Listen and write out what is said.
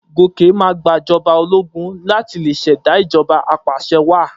Gòkè máa gbàjọba ológun láti lè ṣẹ̀dá ìjọba apàṣẹwàá.